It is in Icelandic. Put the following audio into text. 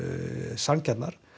sanngjarnar